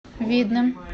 видным